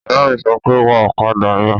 Ìyá mi sọ pé, "Wa ọ̀kadà yẹn!"